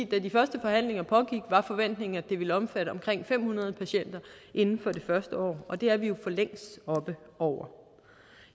da de første forhandlinger pågik var forventningen at det ville omfatte omkring fem hundrede patienter inden for det første år og det er vi jo for længst oppe over